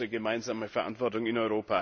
Das ist unsere gemeinsame Verantwortung